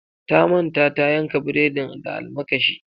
Ta manta tayanka bredin da almakashi.